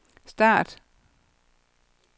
start